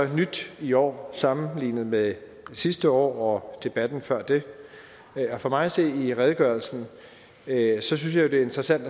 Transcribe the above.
nyt i år sammenlignet med sidste år og debatten før da for mig at se i redegørelsen synes jeg det er interessant